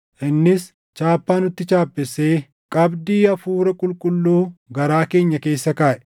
innis chaappaa nutti chaappessee, qabdii Hafuura Qulqulluu garaa keenya keessa kaaʼe.